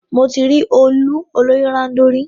Émi ti ri òòlù olórì-ròndọ̀ rí.